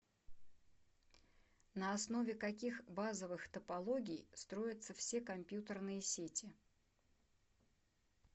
на основе каких базовых топологий строятся все компьютерные сети